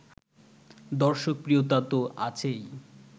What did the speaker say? দর্শকপ্রিয়তা তো আছেই